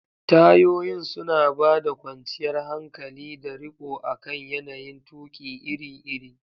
Tayoyin suna ba da kwanciyar hankali da riko akan yanayin tuƙi iri-iri.